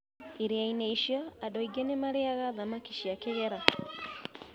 Iria-inĩ icio, andũ aingĩ nĩ marĩĩaga thamaki cia kĩgera.